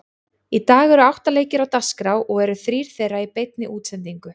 Í dag eru átta leikir á dagskrá og eru þrír þeirra í beinni útsendingu.